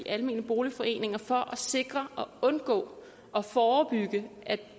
almene boligforeninger for at sikre at man undgår og forebygger at